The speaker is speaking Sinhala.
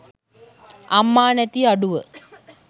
අම්මා නැති අඩුව.